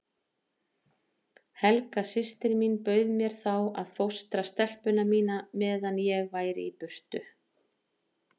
Helga systir mín bauð mér þá að fóstra stelpuna mína meðan ég væri í burtu.